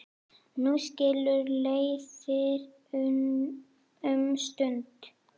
Nú skilur leiðir um stund.